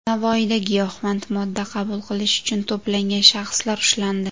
Navoiyda giyohvand modda qabul qilish uchun to‘plangan shaxslar ushlandi.